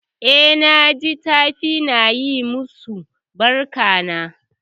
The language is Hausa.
E, naj tafi na yi masu barkan.